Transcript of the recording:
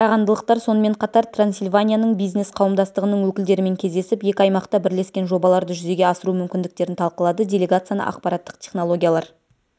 қарағандылықтар сонымен қатар трансильванияның бизнес қауымдастығының өкілдерімен кездесіп екі аймақта бірлескен жобаларды жүзеге асыру мүмкіндіктерін талқылады делегацияны ақпараттық технологиялар